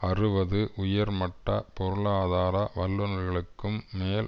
அறுபது உயர்மட்ட பொருளாதார வல்லுனர்களுக்கும் மேல்